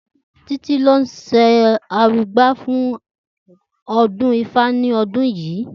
Títí ni ó s̩e arugbá fún o̩dún ifá ní o̩dún yìí